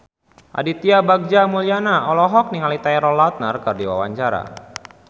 Aditya Bagja Mulyana olohok ningali Taylor Lautner keur diwawancara